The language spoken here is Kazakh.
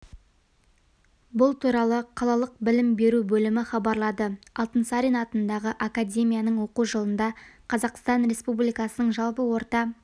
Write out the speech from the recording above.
бұл туралы қалалық білім беру бөлімі хабарлады алтынсарин атындағы академияның оқу жылында қазақстан республикасының жалпы орта